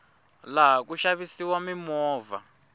laha ku xavisiwa mimovha